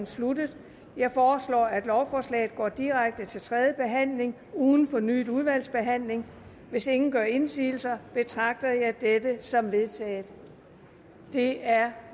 sluttet jeg foreslår at lovforslaget går direkte til tredje behandling uden fornyet udvalgsbehandling hvis ingen gør indsigelse betragter jeg dette som vedtaget det er